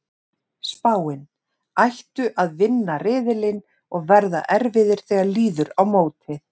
Spáin: Ættu að vinna riðilinn og verða erfiðir þegar líður á mótið.